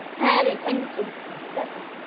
হ্যাঁ রে thank you tata